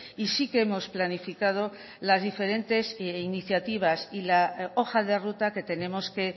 y sí que hemos planificado las diferentes iniciativas y la hoja de ruta que tenemos que